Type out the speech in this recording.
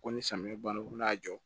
Ko ni samiyɛ banna ko n'a jɔ